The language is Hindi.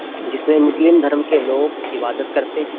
जिसमें मुस्लिम धर्म के लोग इबादत करते हैं।